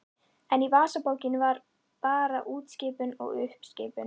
En í vasabókinni var bara útskipun og uppskipun.